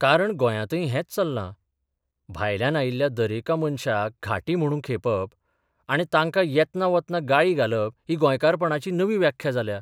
कारण गोंयांतय हेंच चल्लां भायल्यान आयिल्ल्या दरेका मनशाक घांटी म्हूण खेपप आनी तांकां येतना वतना गाळी घालप ही गोंयकारपणाची नवी व्याख्या जाल्या.